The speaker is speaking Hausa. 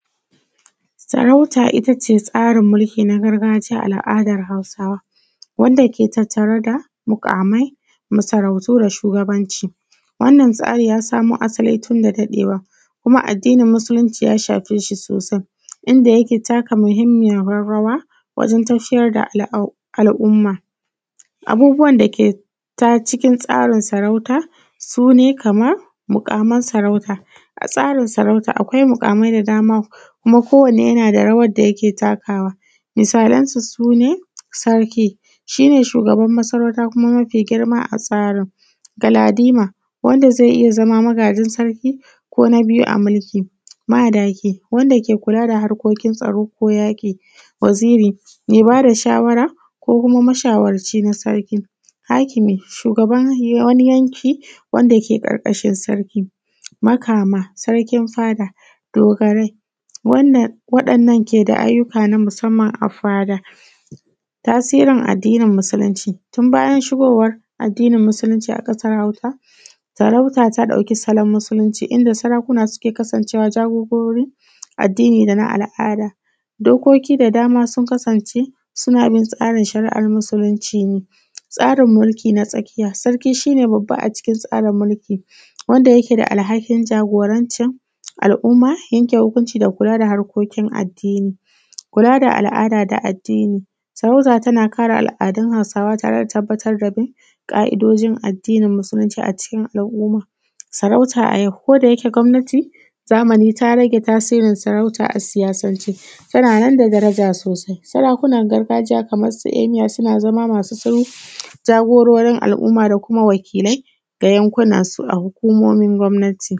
Sarauta ita ce tsarin mulki na gargajiya a al’adan Hausawa wanda ke tattare da muƙamai, makarantu da shugabanci, wannan tsari ya samo asali tun da daɗewa kuma addinin musulunci ya shafe shi sosai inda yake taka muhinmiyar rawa wajen tafiyar da al’adu al’umma. Abubuwan dake ta cikin tsarin sarauta su ne kaman muƙaman sarauta a tsarin sarauta, akwai muƙamai da dama kuma ko wanne yana da rawar da yake takawa misalansu su ne Sarki, shi ne shugaban masaruta kuma mafi girma a tsarin, Galadima wanda ze iya zama magajin Sarki ko na biyu a mulki, Madaki wanda ke kula da harkokin tsaro ko yaƙi, Waziri me ba da shawara ko kuma mashawarci na Sarki, Hakimi shugaban wani yanki wanda ke ƙarƙashin Sarki, Makama, Sarkin Fada, Dogarai. Wannan waɗanda ke da ayyuka na musamman a fada tasirin addinin musulunci tun bayan shigowar addini musulunci a ƙasar Hausa sarauta ta ɗauki salon musulunci inda sarakuna suke kasance wa jagorori addini dana al’ada, dokoki da dama sun kasance suna bin shari’ar addinin musulunci ne, a tsarin mulki na tsakiya sarki shi ne babba a musulunci wadda yake da alhakin jagorancin al’umma yake yanke hukunci da kula da harkokin addini, kula da al’ada da addini. Sarauta tana kare al’adun Hausawa tare da tabbatar da bin ƙa’idojin addinin musulunci, a cikin hukuma sarauta a yau ko da yike gomnati zamani ta rage tasirin saruta a siyasance tana nan da daraja sosai. Sarakun nan gargajiya kaman su amiya suna zama masu tsowo jagororin al’umma da kuma wakilai da yankunan su a hukumomin gwamnati.